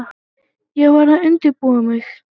Ég var að undirbúa mig.